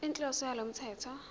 inhloso yalo mthetho